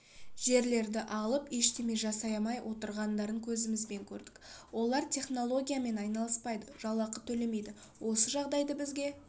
жерлерді алып ештеме жасамай отырғандарын көзімізбен көрдік олар технологиямен айналыспайды жалақы төлемейді осы жағдайды бізге